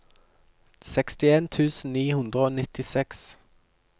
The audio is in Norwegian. sekstien tusen ni hundre og nittiseks